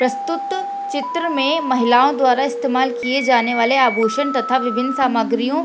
प्रस्तुत चित्र में महिलाओं द्वारा इस्तमाल किए जाने वाले आभूषण तथा विभिन्न सामग्रियों --